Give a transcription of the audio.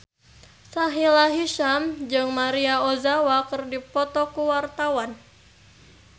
Sahila Hisyam jeung Maria Ozawa keur dipoto ku wartawan